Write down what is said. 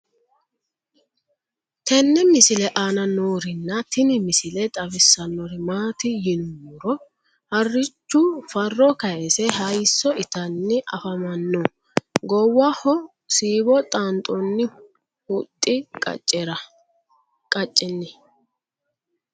tenne misile aana noorina tini misile xawissannori maati yinummoro harichchu farro kayiise hayiisso ittanni affamanno goowaho siiwo xaanixoonni huxxi qaceenni